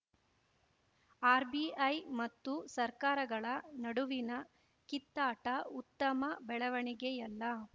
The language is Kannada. ಆರ್‌ಬಿಐ ಮತ್ತು ಸರ್ಕಾರಗಳ ನಡುವಿನ ಕಿತ್ತಾಟ ಉತ್ತಮ ಬೆಳವಣಿಗೆಯಲ್ಲ